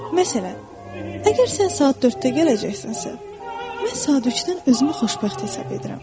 Məsələn, əgər sən saat 4-də gələcəksənsə, mən saat 3-dən özümü xoşbəxt hesab edirəm.